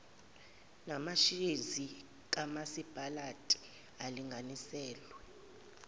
namashezi kamasipalati alinganiselwe